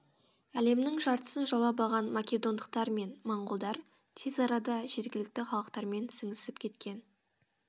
әлемнің жартысын жаулап алған македондықтар мен моңғолдар тез арада жергілікті халықтармен сіңісіп кеткен